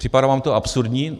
Připadá vám to absurdní?